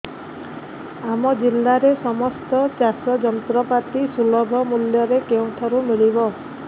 ଆମ ଜିଲ୍ଲାରେ ସମସ୍ତ ଚାଷ ଯନ୍ତ୍ରପାତି ସୁଲଭ ମୁଲ୍ଯରେ କେଉଁଠାରୁ ମିଳିବ